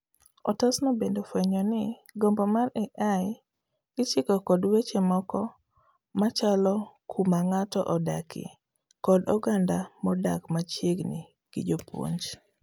Otasno bende ofuenyo ni gombo mar AI ichiko kod weche moko machalo kuma ng'ato odakie, kod oganda modak machiegni gi jopuonj.